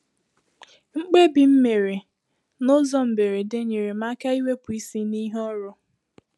Mkpebi m mèrè n’ụzọ mberede nyere m aka iwepụ isi n’ihe ọrụ